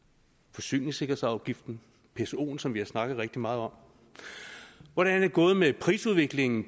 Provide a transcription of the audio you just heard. forsyningssikkerhedsafgiften psoen som vi har snakket rigtig meget om hvordan er det gået med prisudviklingen